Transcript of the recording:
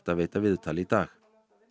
að veita viðtal í dag